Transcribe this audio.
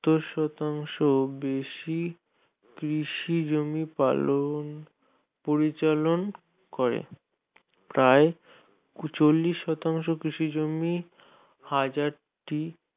সত্তর শতাংশ-এর বেশি কৃষি জমি পালন পরিচালন করে প্রায় চল্লিশ শতাংশের হাজারটি